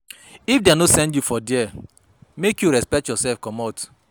If dem no send you for there, make you respect yoursef comot.